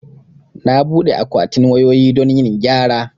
Na buɗe akwatin wayoyi don yin gyara